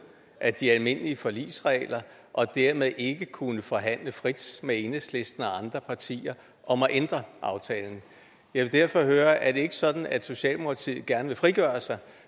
af de almindelige forligsregler og dermed ikke kunne forhandle frit med enhedslisten og andre partier om at ændre aftalen jeg vil derfor høre er det ikke sådan at socialdemokratiet gerne vil frigøre sig